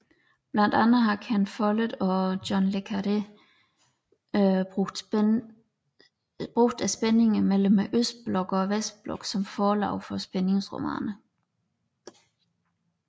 Blandt andre har Ken Follett og John Le Carré brugt spændingerne mellem Østblokken og Vestblokken som forlag for spændingsromaner